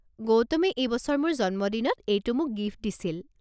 গৌতমে এইবছৰ মোৰ জন্মদিনত এইটো মোক গিফ্টত দিছিল।